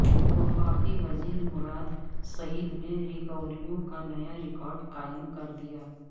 وفاقی وزیر مراد سعید نے ریکوریوں کا نیا ریکارڈ قائم کر دیا